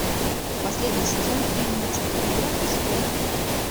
последний сезон фильмец игра престолов